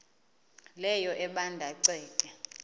leyo ebanda ceke